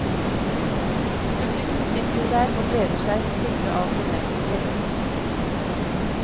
Publikum sitter jo der og gleder seg, fulle av forventninger.